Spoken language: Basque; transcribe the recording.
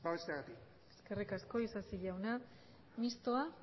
babesteagatik eskerrik asko isasi jauna mistoa